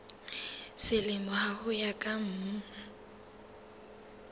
selemo ho ya ka mm